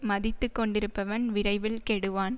மதித்து கொண்டிருப்பவன் விரைவில் கெடுவான்